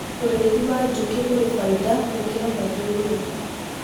ũrĩithi wa njũũkĩ uri baida kuri mathiururuka